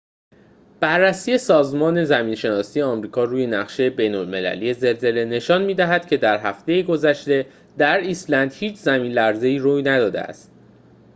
بررسی سازمان زمین‌شناسی آمریکا روی نقشه بین‌المللی زلزله نشان می‌دهد که در هفته گذشته در ایسلند هیچ زمین‌لرزه‌ای روی نداده است